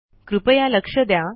कृपया लक्ष द्या